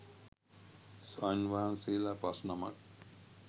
ස්වාමීන් වහන්සේලා පස් නමක්